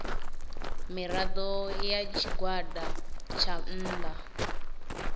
mirado ya tshigwada tsha nnda